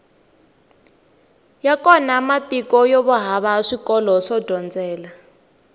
ya kona matiko yova hava swikolo swo dyondzela